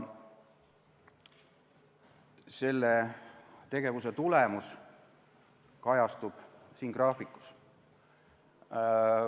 Selle tegevuse tulemus kajastub siin graafikus.